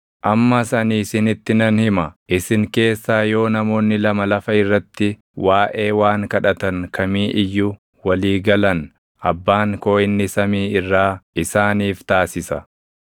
“Ammas ani isinitti nan hima; isin keessaa yoo namoonni lama lafa irratti waaʼee waan kadhatan kamii iyyuu walii galan Abbaan koo inni samii irraa isaaniif taasisa.